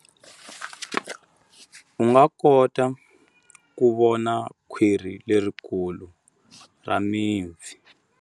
U nga kota ku vona khwiri lerikulu ra mipfi.